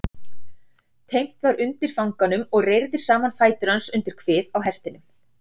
Teymt var undir fanganum og reyrðir saman fætur hans undir kvið á hestinum.